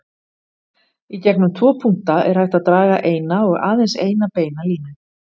Í gegnum tvo punkta er hægt að draga eina og aðeins eina beina línu.